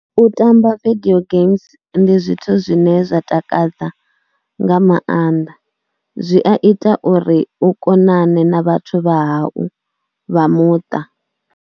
U tamba video games ndi zwithu zwine zwa takadza nga maanḓa, zwi a ita uri u konane na vhathu vha hau vha muṱa.